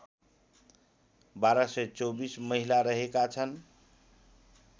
१२२४ महिला रहेका छन्